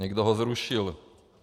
Někdo ho zrušil.